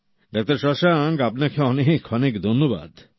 doctor Shashank আপনাকে অনেক অনেক ধন্যবাদ